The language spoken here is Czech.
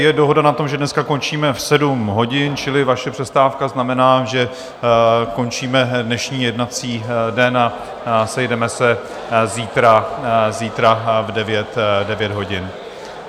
Je dohoda na tom, že dneska končíme v sedm hodin, čili vaše přestávka znamená, že končíme dnešní jednací den a sejdeme se zítra v 9 hodin.